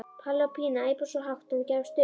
Palli og Pína æpa svo hátt að hún gefst upp.